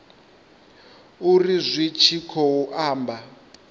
uri zwi tshi khou amba